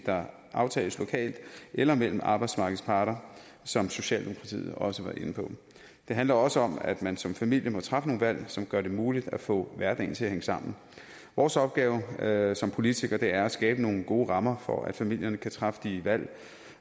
der aftales lokalt eller mellem arbejdsmarkedets parter som socialdemokratiet også var inde på det handler også om at man som familie må træffe nogle valg som gør det muligt at få hverdagen til at hænge sammen vores opgave som politikere er at skabe nogle gode rammer for at familierne kan træffe de valg